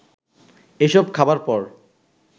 এসব খাবার পর